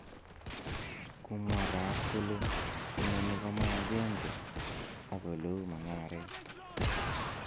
Kumwa Raab kole, " Inoni koma agenge ak oleu mung'aret."